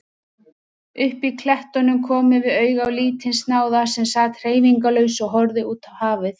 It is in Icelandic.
Uppí klettunum komum við auga á lítinn snáða sem sat hreyfingarlaus og horfði útá hafið.